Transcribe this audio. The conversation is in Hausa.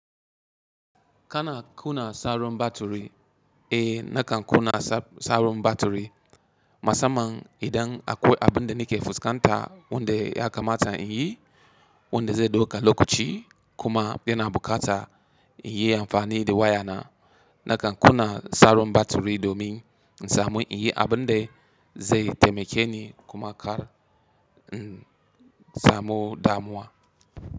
Kana kuna sauron baturi, eh nakan kuna sauron baturi. Masamman idan akwai abunda nike fuskanta wanda ya kamata in yi, wanda zai dauka lokaci kuma yana bukata in yi amfani da wayana. Nakan kuna sauron baturi domin in samu in yi abunda zai taimakeni kuma kar in samu damuwa.